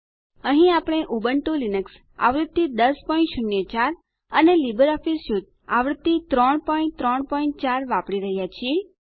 અહીં આપણે Ubuntu Linux આવૃત્તિ 1004 અને લીબરઓફીસ સ્યુટ આવૃત્તિ 334 વાપરી રહ્યા છીએ